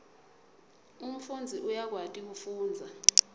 umfundzi uyakwati kufundza